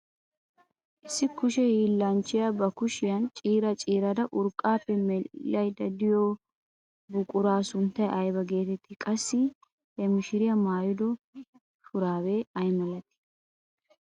Issi kushe hiillanchchiyaa ba kushiyaan ciira ciirada urqqaappe medhdhaydda biyoo buquraa sunttay ayba getettii? Qassi ha mishiriyaa maayido shuraabee ay milatii?